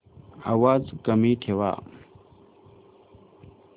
आवाज कमी ठेवा